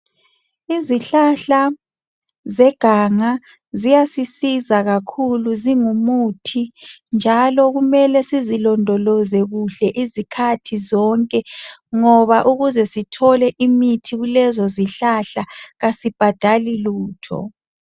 izihlahla zeganga ziyasisiza kakhulu zingumuthi njalo kumele sizilondoloze izikhathi zonke ngoba ukuthi sithole imithi kulezozihlahla asibhadali lutho